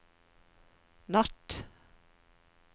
natt